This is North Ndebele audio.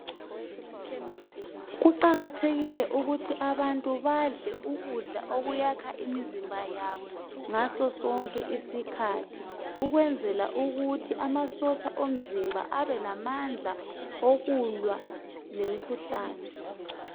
Kuqakathekile ukuthi abantu badle ukudla okuyakha imizimba yabo ngaso sonke isikhathi ukwenzela ukuthi amasotsha omzimba abelamandla okulwa lemikhuhlane.